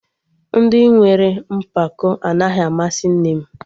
Ndị nwere mpako anaghị amasị nne m